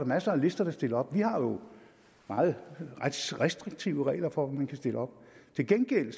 masser af lister der stiller op vi har jo meget restriktive regler for om man kan stille op til gengæld